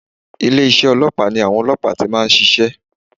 Ilé isé ọlọ́pàá ni àwọn ọlọ́pàá ti máa nsisé